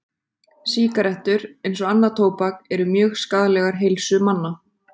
Sígarettur, eins og annað tóbak, eru mjög skaðlegar heilsu manna.